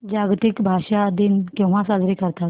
जागतिक भाषा दिन केव्हा साजरा करतात